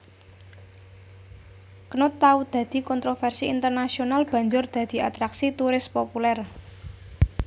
Knut tau dadi kontrovèrsi internasional banjur dadi atraksi turis populèr